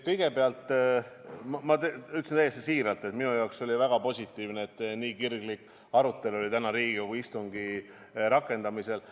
Kõigepealt ma ütlen täiesti siiralt, et minu meelest on väga positiivne, et nii kirglik arutelu oli täna Riigikogu istungi rakendamisel.